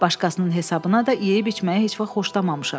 Başqasının hesabına da yeyib-içməyi heç vaxt xoşlamamışam.